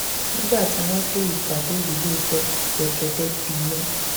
nígbà tí wọn dé ìpàdé yìí lóòótọ gbẹgẹdẹ gbiná